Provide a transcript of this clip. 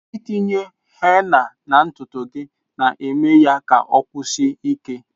Itinye henna na ntutu gị na-eme ya ka osikwue ike.